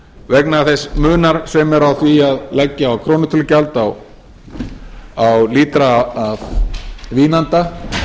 vegna þess munar sem er á því að leggja krónutölugjald á lítra af vínanda